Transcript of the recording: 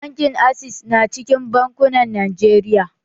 Bankin access na cikin bankunan Najeriya